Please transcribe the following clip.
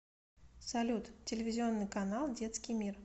салют телевизионный канал детский мир